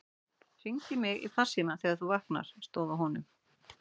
Hringdu í mig í farsímann þegar þú vaknar, stóð á honum.